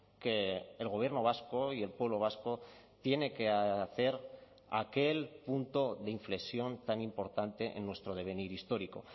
que el gobierno vasco y el pueblo vasco tiene que hacer aquel punto de inflexión tan importante en nuestro devenir histórico